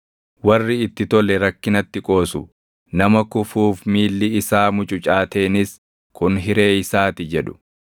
Warri itti tole rakkinatti qoosu; nama kufuuf miilli isaa mucucaateenis kun hiree isaati jedhu.